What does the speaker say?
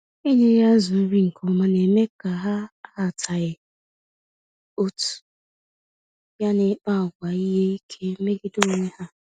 Enyeghị azụ nri nke ọma némè' ha ahataghị otú, ya na ịkpa àgwà ihe ike megide onwe ha.